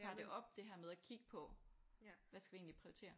Tager det op det her med at kigge på hvad skal vi egentlig prioritere